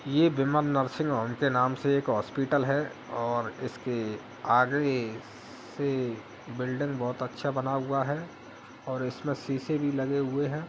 ये Vimal nursing home के नाम से एक हॉस्पिटल है और इसके आगे से बिल्डिंग बहुत अच्छा बना हुआ है और इसमें शीशे भी लगे हुए हैं ।